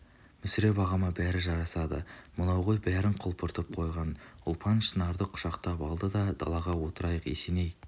мүсіреп ағама бәрі жарасады мынау ғой бәрін құлпыртып қойған ұлпан шынарды құшақтап алды да-далаға отырайық есеней